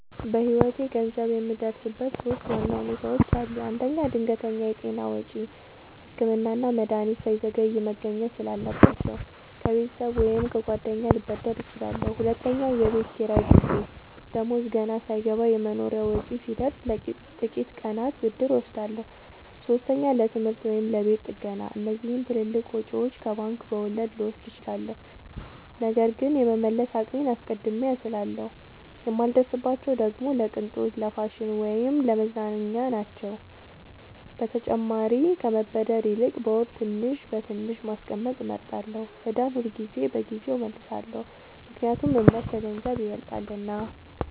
በህይወቴ ገንዘብ የምበደርበት ሶስት ዋና ሁኔታዎች አሉ። አንደኛ፣ ድንገተኛ የጤና ወጪ – ህክምና እና መድሀኒት ሳይዘገይ መገኘት ስላለባቸው፣ ከቤተሰብ ወይም ከጓደኛ ልበደር እችላለሁ። ሁለተኛ፣ የቤት ኪራይ ጊዜ – ደሞዝ ገና ሳይገባ የመኖሪያ ወጪ ሲደርስ፣ ለጥቂት ቀናት ብድር እወስዳለሁ። ሶስተኛ፣ ለትምህርት ወይም ለቤት ጥገና – እነዚህን ትልልቅ ወጪዎች ከባንክ በወለድ ልወስድ እችላለሁ፣ ነገር ግን የመመለስ አቅሜን አስቀድሜ አስላለሁ። የማልበደርባቸው ደግሞ ለቅንጦት፣ ለፋሽን ወይም ለመዝናኛ ናቸው። በተጨማሪም ከመበደር ይልቅ በወር ትንሽ በትንሽ ማስቀመጥ እመርጣለሁ። ዕዳን ሁልጊዜ በጊዜው እመልሳለሁ – ምክንያቱም እምነት ከገንዘብ ይበልጣልና።